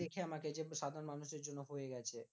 দেখে আমাকে যে সাধারণ মানুষের জন্য হয়ে গেছে।